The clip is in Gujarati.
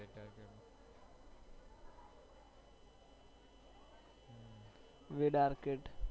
wed arcade